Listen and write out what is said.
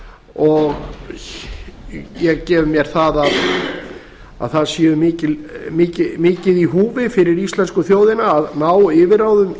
og ég geri mér það að mikið sé í húfi fyrir íslensku þjóðina að ná yfirráðum